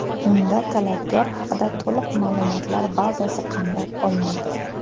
Unda talabgor haqida to‘liq ma’lumotlar bazasi qamrab olinadi.